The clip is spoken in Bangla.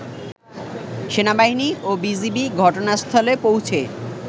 সেনাবাহিনী ও বিজিবি ঘটনাস্থলে পৌঁছে